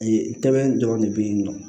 tɛmɛn dɔrɔn de bɛ ye nɔ